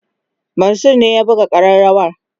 Mansur ne ya buga kareawa